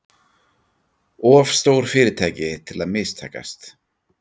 Of stór fyrirtæki til að mistakast